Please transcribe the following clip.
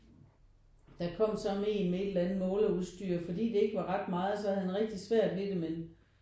Der kom så én med et eller andet måleudstyr fordi det ikke var ret meget så havde han det rigtig svært men